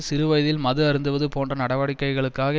சிறுவயதில் மது அருந்துவது போன்ற நடவடிக்கைகளுக்காக